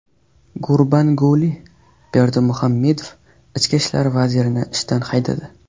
Gurbanguli Berdimuhammedov Ichki ishlar vazirini ishdan haydadi.